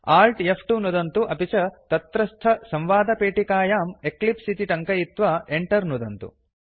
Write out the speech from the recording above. Alt फ्2 नुदन्तु अपि च तत्रस्थसंवादपेटिकायां एक्लिप्स इति टङ्कयित्वा Enter नुदन्तु